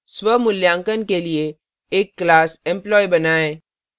स्वमूल्यांकन के लिए एक class employee बनाएँ